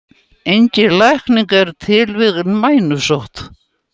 Engin lækning er til við mænusótt.